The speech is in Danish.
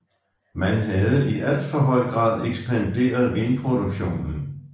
Man havde i alt for høj grad ekspanderet vinproduktionen